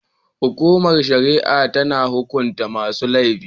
Hukumar shari'a tana hukunta masu laifin.